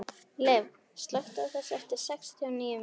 Liv, slökktu á þessu eftir sextíu og níu mínútur.